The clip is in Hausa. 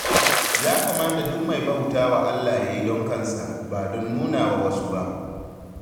Ya kamata duk mai bauta wa Allah ya yi don kansa, ba don nuna wa wasu ba.